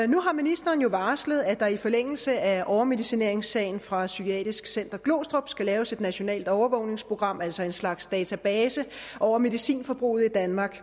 nu har ministeren jo varslet at der i forlængelse af overmedicineringssagen fra psykiatrisk center glostrup skal laves et nationalt overvågningsprogram altså en slags database over medicinforbruget i danmark